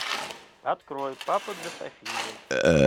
открой папа для софии